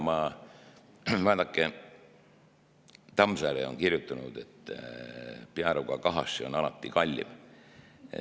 Küll aga, vaadake, Tammsaare on kirjutanud, et Pearuga kahasse on alati kallim.